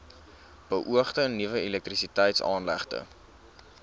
beoogde nuwe elektrisiteitsaanlegte